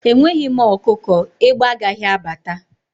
Enweghị m ọkụkọ, egbe agaghi abata